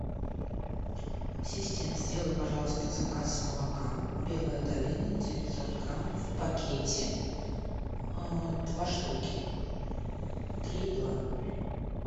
ассистент сделай пожалуйста заказ молока белая долина девятьсот грамм в пакете два штуки три и два